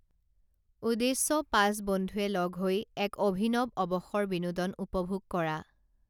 উদ্দেশ্য পাঁচ বন্ধুৱে লগ হৈ এক অভিনৱ অৱসৰ বিনোদন উপভোগ কৰা